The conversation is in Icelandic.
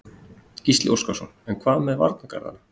Gísli Óskarsson: En hvað með varnargarðana?